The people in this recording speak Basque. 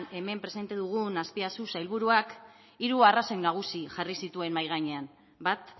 hemen presente dugun azpiazu sailburuak hiru arrazoi nagusi jarri zituen mahai gainean bat